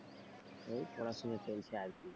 এই পড়াশোনা চলছে আরকি।